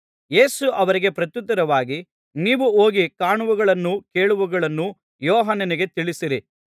ಯೇಸು ಅವರಿಗೆ ಪ್ರತ್ಯುತ್ತರವಾಗಿ ನೀವು ಹೋಗಿ ಕಾಣುವವುಗಳನ್ನು ಕೇಳುವವುಗಳನ್ನು ಯೋಹಾನನಿಗೆ ತಿಳಿಸಿರಿ